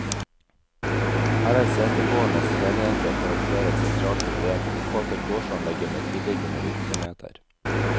Her er setegårdenes helhetlige karakter et sentralt begrep, og omfatter gårdsanlegget med tilliggende virksomheter.